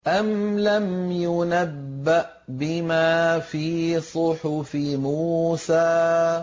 أَمْ لَمْ يُنَبَّأْ بِمَا فِي صُحُفِ مُوسَىٰ